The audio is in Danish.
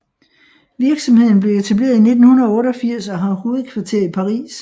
Virksomheden blev etableret i 1988 og har hovedkvarter i Paris